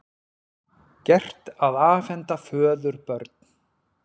Gert að afhenda föður börn